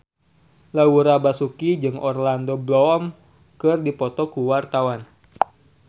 Laura Basuki jeung Orlando Bloom keur dipoto ku wartawan